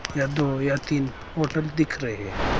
यह दो या तीन होटल दिख रहे हैं।